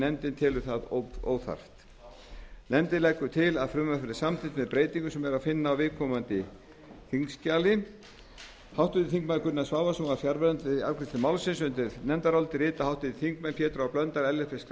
nefndin telur það óþarft nefndin leggur til að frumvarpið verði samþykkt með breytingu sem er að finna á viðkomandi þingskjali háttvirtir þingmenn gunnar svavarsson var fjarverandi afgreiðslu málsins undir nefndarálitið rita háttvirtir þingmenn pétur h blöndal ellert b schram